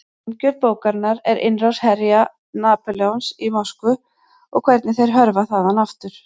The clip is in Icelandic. Umgjörð bókarinnar er innrás herja Napóleons í Moskvu og hvernig þeir hörfa þaðan aftur.